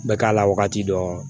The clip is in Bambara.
Bɛ k'a la wagati dɔn